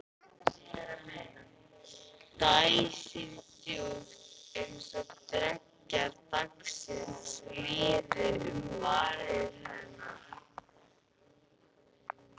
Dæsir djúpt- eins og dreggjar dagsins líði um varir hennar.